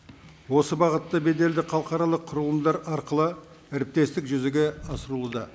осы бағытта беделді халықаралық құрылымдар арқылы әріптестік жүзеге асырылуда